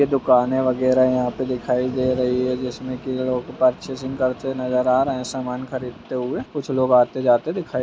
ये दुकानें वगैरा यहाँ पे दिखाई दे रही है जिसमें की लोग पर्चेसिंग करते नज़र आ रहें हैं सामान खरीदते हुए कुछ लोग आते-जाते दिखाई --